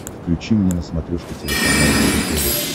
включи мне на смотрешке телеканал его тв